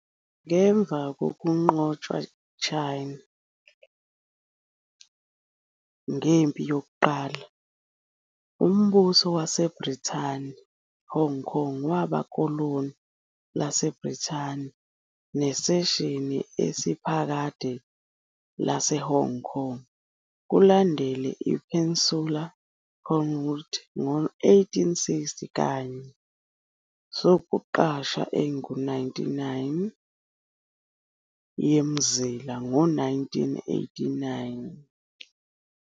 Ngemva kokunqotshwa China ngempi yokuqala uMbuso waseBrithani, Hong Kong waba koloni laseBrithani ne cession esiphakade of Hong Kong Island, kulandele Peninsula Kowloon ngo 1860 kanye sokuqasha engu-99 of the Territories New in 1898.